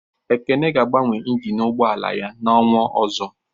Ekene ga agbanwe ịnginu ụgbọala yá n'ọnwa ọzọ